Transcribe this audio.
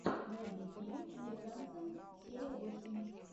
найди фильм американцы серия восемь